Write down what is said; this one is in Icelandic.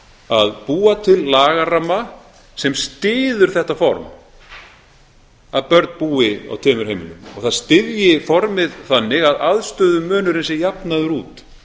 að búa til lagaramma sem styður þetta form að börn búi á tveimur heimilum og það styðji formið þannig að aðstöðumunurinn sé jafnaður út